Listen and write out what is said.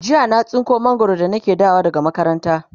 jiya na tsinko mangwaro da nake dawowa makaranta